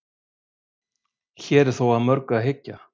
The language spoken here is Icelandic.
hér er þó að mörgu að hyggja